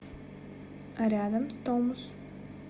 рядом стомус